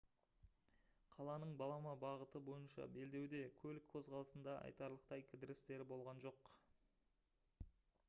қаланың балама бағыты бойынша белдеуде көлік қозғалысында айтарлықтай кідірістер болған жоқ